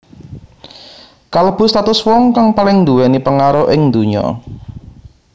Kalebu satus wong kang paling nduwéni pengaruh ing dunya